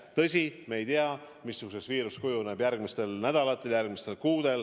Tõsi, me ei tea, missuguseks kujuneb viiruse levik järgmistel nädalatel, järgmistel kuudel.